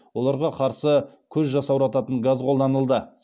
оларға қарсы көз жасаурататын газ қолданылды